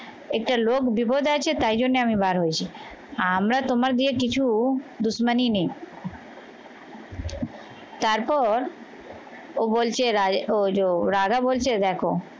একটা লোক বিপদ আছে তাই জন্যে আমি বার হয়েছি আমরা তোমার দিয়ে কিছু দুশমনি নেই তারপর ও বলছে আহ রাধা বলছে দেখো